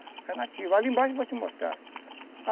Ali embaixo eu vou te mostrar.